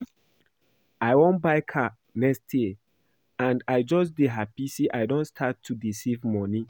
I wan buy car next year and I just dey happy say I don start to dey save money